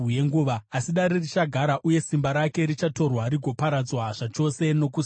“ ‘Asi dare richagara, uye simba rake richatorwa rigoparadzwa zvachose nokusingaperi.